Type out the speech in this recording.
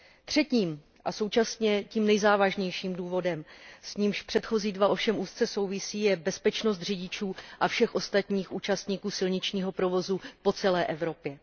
Třetím a současně tím nejzávažnějším důvodem, s nímž předchozí dva ovšem úzce souvisí, je bezpečnost řidičů a všech ostatních účastníků silničního provozu po celé Evropě.